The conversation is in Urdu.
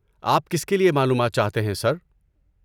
آپ کس کے لیے معلومات چاہتے ہیں، سر؟